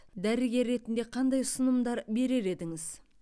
дәрігер ретінде қандай ұсынымдар берер едіңіз